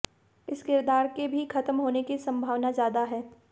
इस किरदार के भी खत्म होने की संभावना ज्यादा है